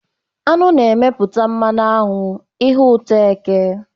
Aṅụ na-emepụta mmanụ aṅụ, ihe ụtọ eke.